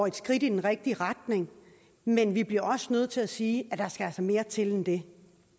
et skridt i den rigtige retning men vi bliver også nødt til at sige at der altså skal mere til end det